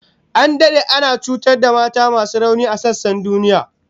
An dade ana cutar da mata masu rauni a sassan duniya